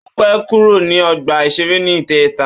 Ó pẹ́ kúrò ní ọgbà-ìṣeré ní ìjẹta